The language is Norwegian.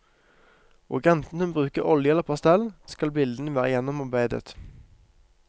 Og enten hun bruker olje eller pastell, skal bildene være gjennomarbeidet.